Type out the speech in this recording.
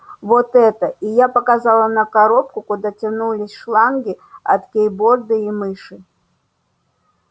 вот эта и я показала на коробку куда тянулись шланги от кейборды и мыши